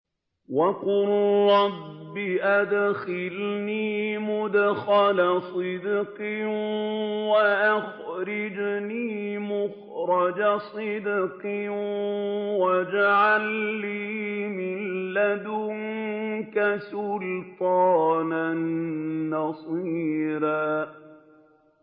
وَقُل رَّبِّ أَدْخِلْنِي مُدْخَلَ صِدْقٍ وَأَخْرِجْنِي مُخْرَجَ صِدْقٍ وَاجْعَل لِّي مِن لَّدُنكَ سُلْطَانًا نَّصِيرًا